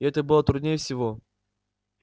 и это было труднее всего